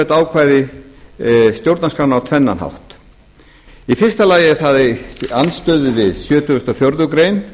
þetta ákvæði stjórnarskrána á tvennan hátt í fyrsta lagi er það í andstöðu við sjötugasta og fjórðu grein